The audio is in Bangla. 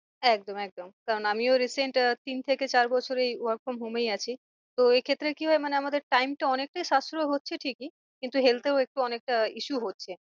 একদম একদম কারণ আমিও recent আহ তিন থেকে চার বছর এই work from home এই আছি। তো এ ক্ষেত্রে কি হয় মানে আমাদের time টা অনেকটা সাশ্রয় হচ্ছে ঠিকই। কিন্তু health এও একটু অনেকটা issue হচ্ছে।